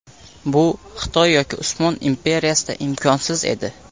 Bu Xitoy yoki Usmon imperiyasida imkonsiz edi.